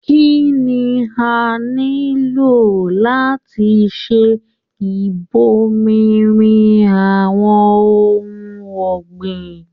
Kínní s nílò láti ṣe ibòmírin àwọn ohùn ọ̀gbìn?